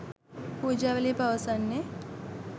පූජාවලිය පවසන්නේ